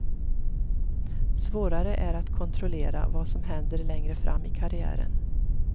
Svårare är att kontrollera vad som händer längre fram i karriären.